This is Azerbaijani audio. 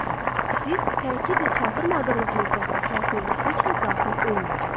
Siz təkidlə çağırmadığınız müddətdə həyatınıza heç nə daxil olmayacaq.